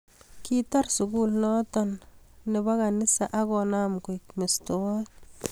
Kitar sukul noto ab kanisa ak konam koik mestowot